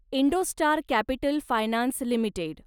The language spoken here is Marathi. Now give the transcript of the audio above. Indostar capital finance limited